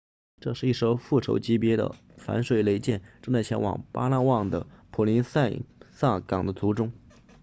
这是一艘复仇者级别的反水雷舰正在前往巴拉望的普林塞萨港的途中